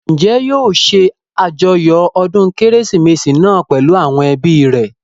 Njẹ́ yóò ṣe àjọyọ̀ ọdún kérésìmesì náà pèlú àwọn ẹbí rẹ̀?